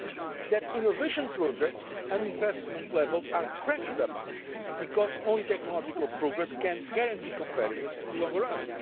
SMEs and that innovation projects and investment levels are cranked up, because only technological progress can guarantee competitiveness in the long